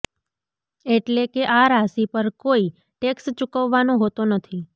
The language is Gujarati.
એટલેકે આ રાશિ પર કોઈ ટેક્સ ચૂકવવાનો હોતો નથી